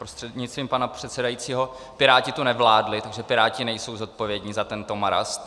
Prostřednictvím pana předsedajícího, Piráti tu nevládli, takže Piráti nejsou zodpovědní za tento marast.